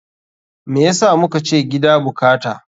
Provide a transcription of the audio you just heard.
Me yasa mukace gida bukata?